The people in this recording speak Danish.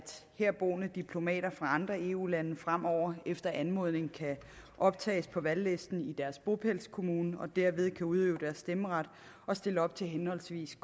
herboende diplomater fra andre eu lande fremover efter anmodning kan optages på valglisten i deres bopælskommune og derved kan udøve deres stemmeret og stille op til henholdsvis